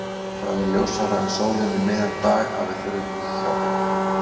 Það er ljósara en sólin um miðjan dag að við þurfum hjálp.